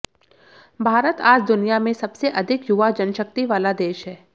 भारत आज दुनिया में सबसे अधिक युवा जनशक्ति वाला देश है